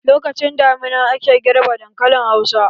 Lokacin damina ake girbe dankalin hausa.